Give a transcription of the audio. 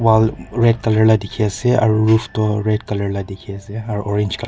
wall red color la dikhi ase aro roof toh red color la dikhi ase aro orange color --